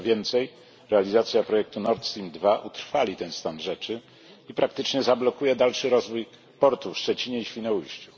Co więcej realizacja projektu Nord Stream II utrwali ten stan rzeczy i praktycznie zablokuje dalszy rozwój portu w Szczecinie i Świnoujściu.